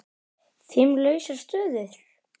Fimm lausar stöður?